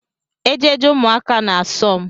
Ejeje ụmụaka na-asom